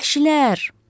Vəhşilər!